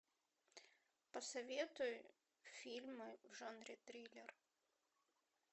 посоветуй фильмы в жанре триллер